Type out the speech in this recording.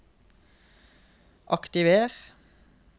aktiver